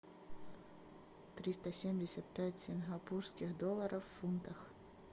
триста семьдесят пять сингапурских долларов в фунтах